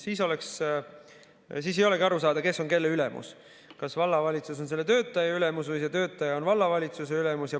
Siis ei olegi aru saada, kes on kelle ülemus: kas vallavalitsus on selle töötaja ülemus või see töötaja on vallavalitsuse ülemus.